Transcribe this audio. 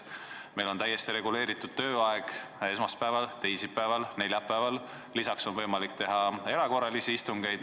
Meil on komisjonide tööaeg esmaspäeval, teisipäeval, neljapäeval, lisaks on võimalik teha erakorralisi istungeid.